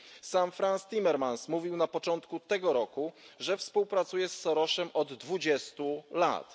Sam Franz Timmermans mówił na początku tego roku, że współpracuje z Sorosem od dwudziestu lat.